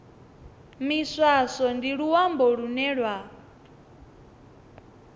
miswaswo ndi luambo lune lwa